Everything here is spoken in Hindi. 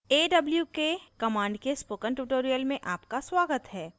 awk command के spoken tutorial में आपका स्वागत है